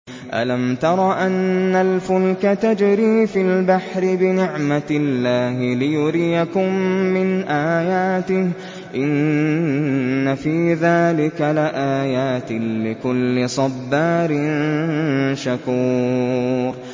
أَلَمْ تَرَ أَنَّ الْفُلْكَ تَجْرِي فِي الْبَحْرِ بِنِعْمَتِ اللَّهِ لِيُرِيَكُم مِّنْ آيَاتِهِ ۚ إِنَّ فِي ذَٰلِكَ لَآيَاتٍ لِّكُلِّ صَبَّارٍ شَكُورٍ